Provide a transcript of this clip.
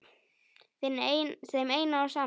Þeim eina og sanna?